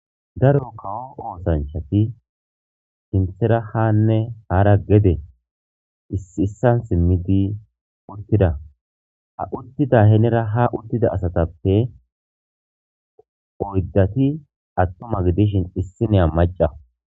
daro kawo oosanchati sinthera haanne haara gede issi issan simmidi urtida ha uttida henera ha uttida asatappe oyddati attoma gidishin issinea maca